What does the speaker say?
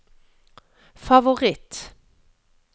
favoritt